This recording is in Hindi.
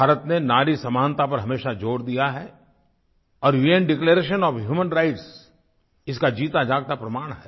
भारत ने नारी समानता पर हमेशा ज़ोर दिया है और उन डिक्लेरेशन ओएफ ह्यूमन राइट्स इसका जीताजागता प्रमाण है